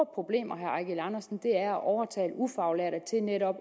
problemer er at overtale ufaglærte til netop